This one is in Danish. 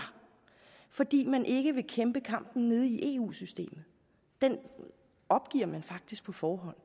fordi man ikke vil kæmpe kampen nede i eu systemet den opgiver man faktisk på forhånd